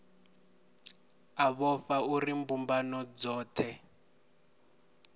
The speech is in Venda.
a vhofha uri mbumbano dzohe